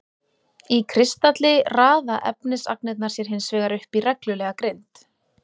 Í kristalli raða efnisagnirnar sér hinsvegar upp í reglulega grind.